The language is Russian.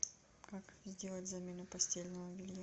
как сделать замену постельного белья